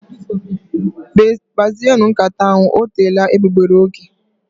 Kpazienu nkata ahụ, ọ teela egbugbere ógè